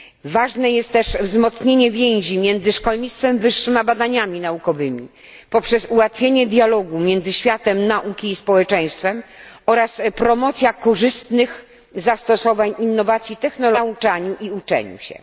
Ważne jest też wzmocnienie więzi między szkolnictwem wyższym a badaniami naukowymi poprzez ułatwienie dialogu między światem nauki i społeczeństwem oraz promocja korzystnych zastosowań innowacji technologicznych w nauczaniu i uczeniu się.